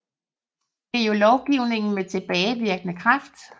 Det er jo lovgivning med tilbagevirkende kraft